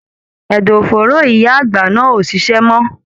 Ẹdọ fòóro ìyá àgbà náà o ṣiṣẹ mọ.